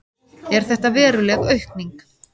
Er þetta veruleg aukning?